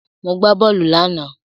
Mo gbà bóòlù lánàá.